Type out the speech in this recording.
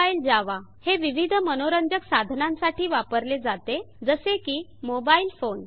Mobile Java हे विविध मनोरंजक साधनांसाठी वापरले जाते जसे की मोबाइल फोन